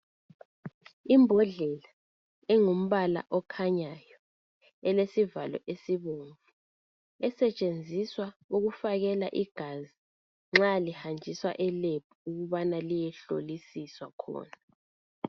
imbodlela engumbala okhanyayo elesivalo esibomvu esetshenziswa ukufakela igazi nxa lihanjiswa e Lab ukubana liyehlolisiswa khona